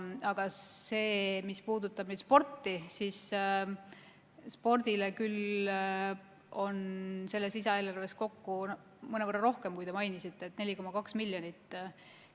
Aga mis puudutab sporti – spordile on selles lisaeelarves ette nähtud mõnevõrra rohkem, kui te mainisite, 4,2 miljonit eurot.